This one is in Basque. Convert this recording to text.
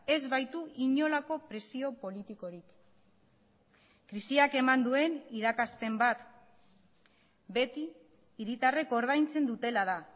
ez baitu inolako presio politikorik krisiak eman duen irakaspen bat beti hiritarrek ordaintzen dutela da